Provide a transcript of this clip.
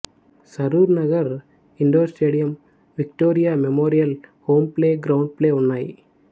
Saroor Nagar indoor stadium Victoria memorial home playground play ఉన్నాయి